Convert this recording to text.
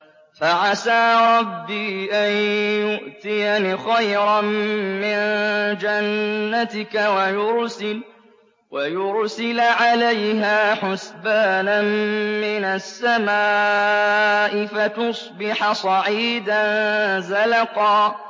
فَعَسَىٰ رَبِّي أَن يُؤْتِيَنِ خَيْرًا مِّن جَنَّتِكَ وَيُرْسِلَ عَلَيْهَا حُسْبَانًا مِّنَ السَّمَاءِ فَتُصْبِحَ صَعِيدًا زَلَقًا